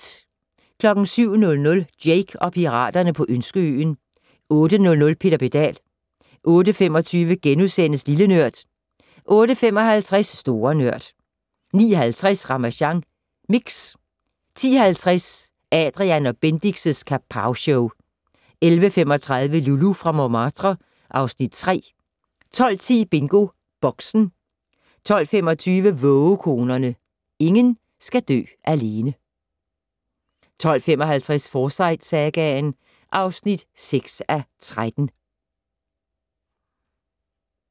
07:00: Jake og piraterne på Ønskeøen 08:00: Peter Pedal 08:25: Lille Nørd * 08:55: Store Nørd 09:50: Ramasjang Mix 10:50: Adrian & Bendix' Kapowshow 11:35: Loulou fra Montmartre (Afs. 3) 12:10: BingoBoxen 12:25: Vågekonerne - ingen skal dø alene 12:55: Forsyte-sagaen (6:13)